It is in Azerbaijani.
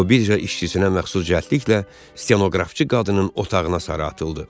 O birja işçisinə məxsus cəldliklə stenoqrafçı qadının otağına sara atıldı.